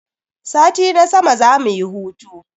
Sati na sama zamu yi hutu.